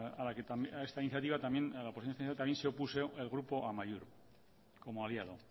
a esta iniciativa también se opuso el grupo amaiur como aliado